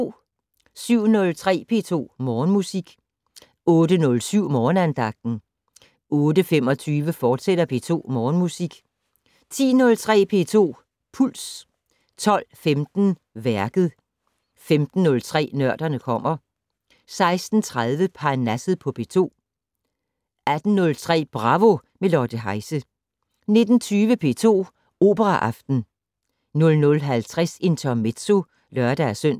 07:03: P2 Morgenmusik 08:07: Morgenandagten 08:25: P2 Morgenmusik, fortsat 10:03: P2 Puls 12:15: Værket 15:03: Nørderne kommer 16:30: Parnasset på P2 18:03: Bravo - med Lotte Heise 19:20: P2 Operaaften 00:50: Intermezzo (lør-søn)